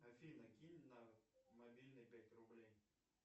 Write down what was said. афина кинь на мобильный пять рублей